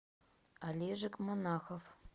олежек монахов